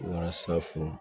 Walasa furu